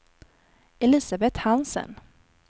Elisabeth Hansen